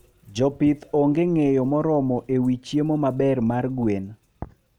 Jopith onge ngeyo moromo ewi chiemo maber mar gwen